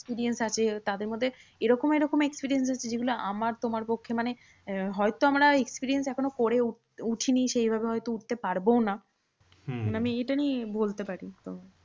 Experience আছে। তাদের মধ্যে এরকম এরকম experience আছে যেগুলো আমার তোমার পক্ষে মানে আহ হয়তো আমরা experience করে উঠ উঠিনি বা সেইভাবে উঠতে পারবোও না। আমি এইটা নিয়ে বলতে পারি। তো